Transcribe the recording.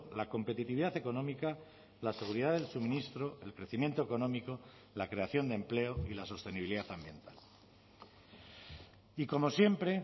la competitividad económica la seguridad del suministro el crecimiento económico la creación de empleo y la sostenibilidad ambiental y como siempre